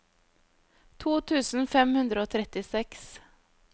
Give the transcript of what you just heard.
to tusen fem hundre og trettiseks